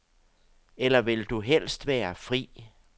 Eller vil du helst være fri?